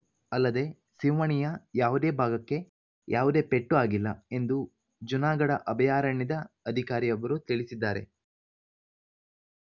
ಅಲ್ಲದೆ ಸಿಂಹಣಿಯ ಯಾವುದೇ ಭಾಗಕ್ಕೆ ಯಾವುದೇ ಪೆಟ್ಟು ಆಗಿಲ್ಲ ಎಂದು ಜುನಾಗಢ ಅಭಯಾರಣ್ಯದ ಅಧಿಕಾರಿಯೊಬ್ಬರು ತಿಳಿಸಿದ್ದಾರೆ